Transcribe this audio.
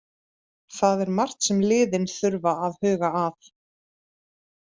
Það er margt sem liðin þurfa að huga að.